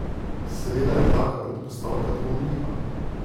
Seveda je taka predpostavka dvomljiva.